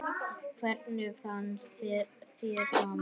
Hvernig fannst þér ganga?